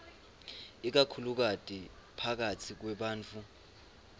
ikakhulukati phakatsi kwebantfu